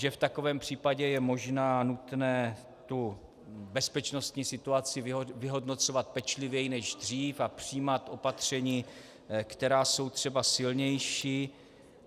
Že v takovém případě je možné a nutné bezpečnostní situaci vyhodnocovat pečlivěji než dřív a přijímat opatření, která jsou třeba silnější.